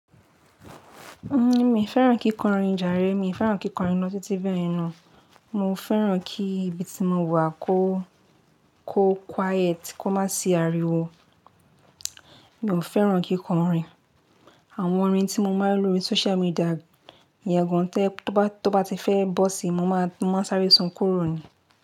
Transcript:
N o, mi o fẹ́ràn kíkọrin jàre, mi o fẹ́ràn kíkọrin lo títí bẹ́yẹ̀n na. Mo fẹ́ràn kí ibi tí mo wà kó, kó quiet, kó má sì ariwo. Mi o fẹ́ràn kíkọrin. Àwọn orin tí mo máa ń lo ní social media ìyẹ́ gan tẹ́, tó bá ti fẹ́ bọ́ sí i, mo máa sáré sún kúrò ni.